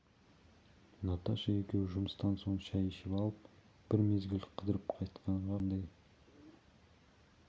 наташа екеуі жұмыстан соң шай ішіп алып бір мезгіл қыдырып қайтқанға қандай